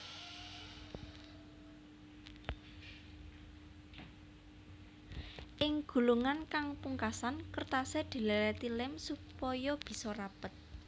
Ing gulungan kang pungkasan kertasé dilèlèti lém supaya bisa rapet